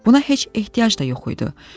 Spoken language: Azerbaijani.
Buna heç ehtiyac da yox idi.